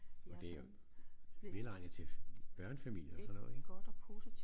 Og det velegnet til børnefamilier og sådan noget ik